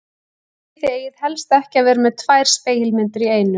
Nei, þið eigið helst ekki að vera með tvær spegilmyndir í einu.